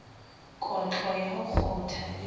kotlo ya ho kgotha le